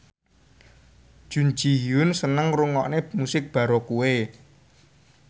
Jun Ji Hyun seneng ngrungokne musik baroque